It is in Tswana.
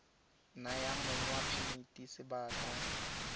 naya mong wa phemiti sebaka